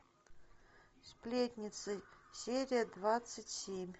сплетницы серия двадцать семь